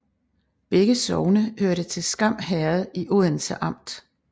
Begge sogne hørte til Skam Herred i Odense Amt